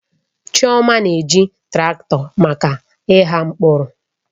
Chioma na-eji traktọ maka ịgha mkpụrụ.